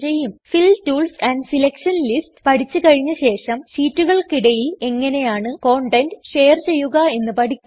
ഫിൽ tools amp selection lists പഠിച്ച് കഴിഞ്ഞശേഷം ഷീറ്റുകൾക്കിടയിൽ എങ്ങനെയാണ് കണ്ടൻറ് ഷെയർ ചെയ്യുക എന്ന് പഠിക്കും